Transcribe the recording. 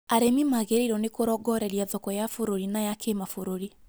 Arĩmi magĩrĩirwo nĩ kũrongoreria thoko ya bũrũri na ya kĩmabũrũri